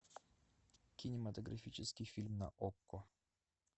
кинематографический фильм на окко